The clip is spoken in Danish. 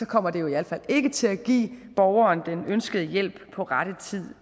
kommer det jo i hvert fald ikke til at give borgeren den ønskede hjælp på rette tid